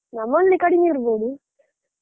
ನಮ್ಮಲ್ಲಿ ಕಡಿಮೆ ಇರ್ಬೋದು.